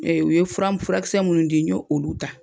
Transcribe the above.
Ee u ye fura furakisɛ munnu di n ye olu ta